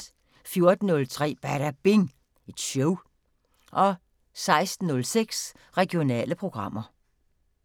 14:03: Badabing Show 16:06: Regionale programmer